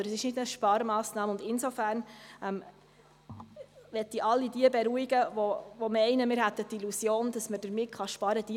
Es war keine Sparmassnahme, und insofern möchte ich all jene beruhigen, die meinen, wir hätten die Illusion, dass man damit sparen kann.